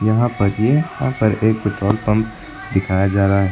यहां पर ये यहां पर एक पेट्रोल पंप दिखाया जा रहा है।